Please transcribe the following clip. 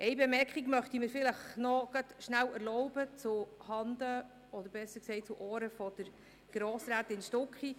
Eine Bemerkung möchte ich mir dennoch erlauben, zuhanden von Grossrätin Stucki: